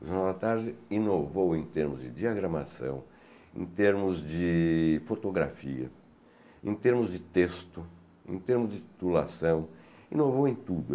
O Jornal da Tarde inovou em termos de diagramação, em termos de fotografia, em termos de texto, em termos de titulação, inovou em tudo.